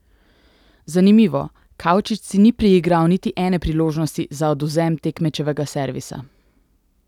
Zanimivo, Kavčič si ni priigral niti ene priložnosti za odvzem tekmečevega servisa!